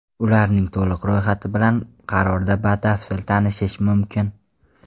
Ularning to‘liq ro‘yxati bilan qarorda batafsil tanishish mumkin.